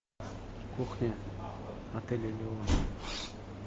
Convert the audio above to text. кухня отель элеон